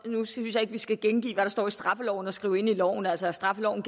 nu synes jeg ikke vi skal gengive hvad der står i straffeloven og skrive det ind i loven altså at straffeloven